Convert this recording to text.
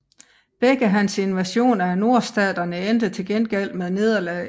Begge hans invasioner af Nordstaterne endte til gengæld med nederlag